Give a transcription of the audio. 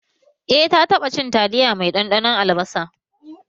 Eh na taɓa cin taliya mai ɗanɗanon albasa